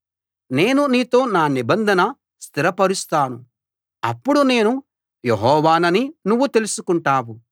నేను నీతో నా నిబంధన స్థిరపరుస్తాను అప్పుడు నేను యెహోవానని నువ్వు తెలుసుకుంటావు